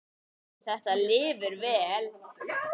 En þetta lifir vel.